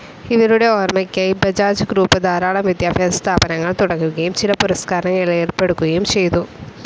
ഇവരുടെ ഓർമ്മയ്ക്കായി ബജാജ് ഗ്രൂപ്പ്‌ ധാരാളം വിദ്യാഭ്യാസസ്ഥാപനങ്ങൾ തുടങ്ങുകയും ചില പുരസ്കാരങ്ങൾ ഏർപ്പെടുത്തുകയും ചെയ്തു.